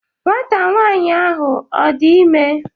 Nwanta nwanyi ahu Ọ dị ime?